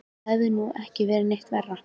Það hefði nú ekki verið neitt verra.